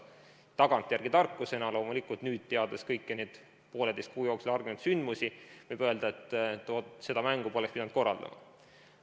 Tagantjärele tarkusena nüüd, teades kõiki neid poolteise kuu jooksul arenenud sündmusi, võib loomulikult öelda, et seda mängu poleks pidanud korraldama.